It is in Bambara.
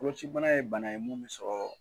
Koloci ibana ye bana ye mun bɛ sɔrɔ